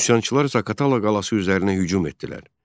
Üsyançılar Zaqatala qalası üzərinə hücum etdilər.